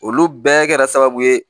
Olu bɛɛ kɛra sababu ye